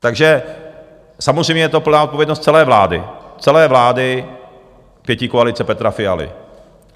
Takže samozřejmě je to plná odpovědnost celé vlády, celé vlády pětikoalice Petra Fialy.